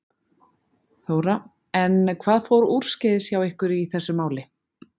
Þóra: En hvað fór úrskeiðis hjá ykkur í þessu máli?